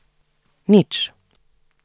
Nič!